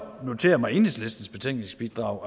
notere mig enhedslistens betænkningsbidrag